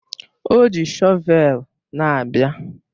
O ji shọvel na-abịa